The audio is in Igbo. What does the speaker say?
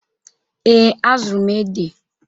Ee, azụrụ m ede.